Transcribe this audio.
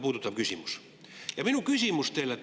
Minu küsimus teile on nüüd see.